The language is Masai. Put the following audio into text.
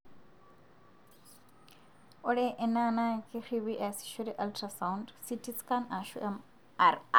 ore ena na keripi easishore ultrasound Ctscan ashu MRI.